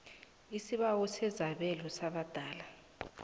isibawo sesabelo sabadala